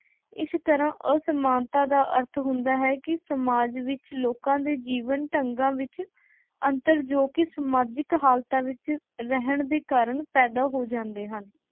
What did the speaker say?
ਇਸ ਤਰ੍ਹਾਂ ਅਸਮਾਨਤਾ ਦਾ ਅਰਥ ਹੁੰਦਾ ਹੈ ਕਿ ਸਮਾਜ ਵਿੱਚ ਲੋਕਾਂ ਦੇ ਜੀਵਨ ਢੰਗਾਂ ਵਿੱਚ ਅੰਤਰ ਜੋ ਕਿ ਸਮਾਜਿਕ ਹਾਲਤਾਂ ਵਿੱਚ ਰਹਿਣ ਦੇ ਕਾਰਨ ਪੈਦਾ ਹੋ ਜਾਂਦੇ ਹਨ।